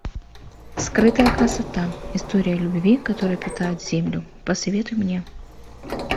скрытая красота история любви которая питает землю посоветуй мне